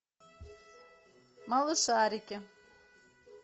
малышарики